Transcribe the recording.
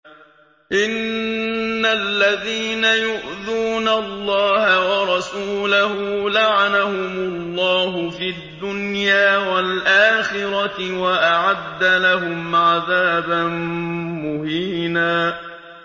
إِنَّ الَّذِينَ يُؤْذُونَ اللَّهَ وَرَسُولَهُ لَعَنَهُمُ اللَّهُ فِي الدُّنْيَا وَالْآخِرَةِ وَأَعَدَّ لَهُمْ عَذَابًا مُّهِينًا